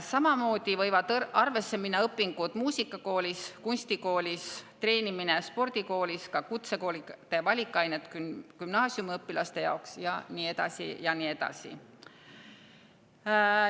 Samamoodi võivad arvesse minna õpingud muusikakoolis, kunstikoolis, treenimine spordikoolis, ka kutsekoolide valikained gümnaasiumiõpilaste jaoks, ja nii edasi ja nii edasi.